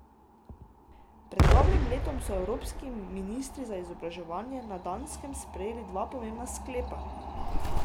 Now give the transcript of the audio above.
Pred dobrim letom so evropski ministri za izobraževanje na Danskem sprejeli dva pomembna sklepa.